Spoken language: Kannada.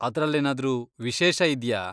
ಅದ್ರಲ್ಲೇನಾದ್ರೂ ವಿಶೇಷ ಇದ್ಯಾ?